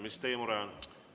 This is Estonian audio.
Mis teie mure on?